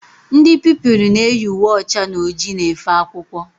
Ndị Pupilụ na eyi uwe ọcha na ojii na efe akwụkwọ